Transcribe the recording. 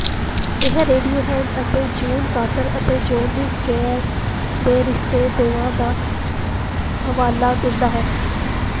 ਇਹ ਰੇਡੀਓਹੈਡ ਅਤੇ June Carter ਅਤੇ ਜੌਨੀ ਕੈਸ਼ ਦੇ ਰਿਸ਼ਤੇ ਦੋਵਾਂ ਦਾ ਹਵਾਲਾ ਦਿੰਦਾ ਹੈ